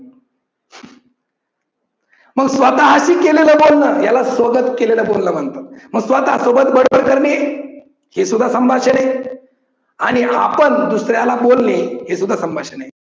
मग स्वतः शी केलेलं बोलन याला स्वगत केलेलं बोलन म्हणतात. स्वतः सोबत बडबड करणे हे सुद्धा संभाषण आहे आणि आपण दुसऱ्याला बोलणे हे सुद्धा संभाषण आहे.